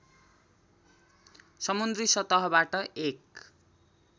समुद्री सतहबाट एक